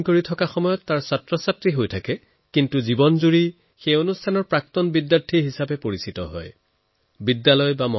মোৰ যুৱ বন্ধুবান্ধবীসকল আপোনালোক তেতিয়ালৈকেহে কোনো প্ৰতিষ্ঠানৰ বিদ্যাৰ্থী যেতিয়ালৈকে আপোনালোকে তাত পঢ়াশুনা কৰে কিন্তু তাৰ এলুমনাই আপোনালোক জীৱনজুৰি থাকে